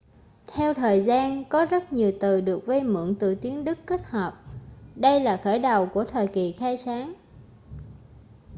theo thời gian có rất nhiều từ được vay mượn từ tiếng đức kết hợp đây là khởi đầu của thời kỳ khai sáng